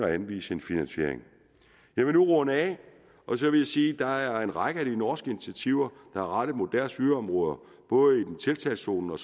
anviser en finansiering jeg vil nu runde af og sige at der er en række af de norske initiativer der er rettet mod deres yderområder både tiltagszonerne